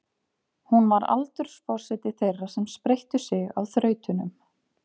Hún var aldursforseti þeirra sem spreyttu sig á þrautunum.